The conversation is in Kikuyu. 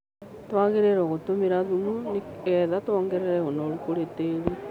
Twagĩrĩirwo gũtũmira thumu nĩgetha tuongerere ũnoru kũri tĩri